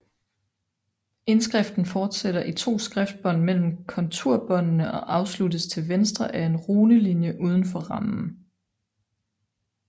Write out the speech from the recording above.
Indskriften fortsætter i to skriftbånd mellem konturbåndene og afsluttes til venstre af en runelinje uden for rammen